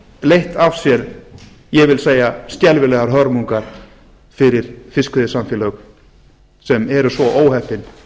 leitt af sér ég vil segja skelfilegar hörmungar fyrir fiskveiðisamfélög sem eru svo óheppin